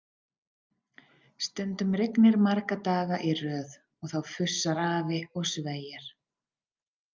Stundum rignir marga daga í röð og þá fussar afi og sveiar.